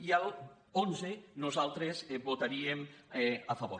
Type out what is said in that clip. i a l’onze nosaltres hi votaríem a favor